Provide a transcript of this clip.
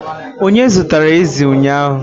Onye zụtara ezi ụnyahụ